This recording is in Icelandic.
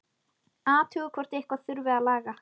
Athugar hvort eitthvað þurfi að laga.